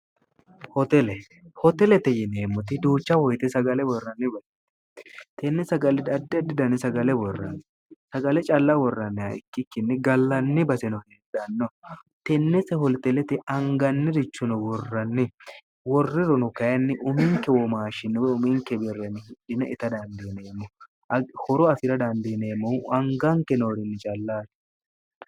hotele hotelete yineemmoti duucha hoyite sagale worranni barie tenne sagalidaddi didan sagale worranni sagale calla worranniha ikkikkinni gallanni baseno heedhanno tennete holxelete angannirichuno worranni worriruno kayinni uminke womaashshinniwe uminke birreni hidine ita dandiineemmo horo afira dandiineemmohu anganke noorinni callaati